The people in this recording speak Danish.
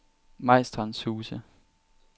Majstrandshuse